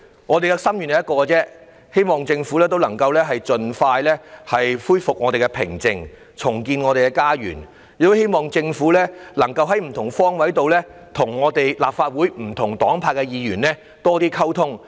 我們只有一個心願，便是希望政府能夠盡快恢復我們社會的寧靜，重建我們的家園；亦很希望政府能夠在不同方位上與立法會不同黨派的議員有多一點溝通。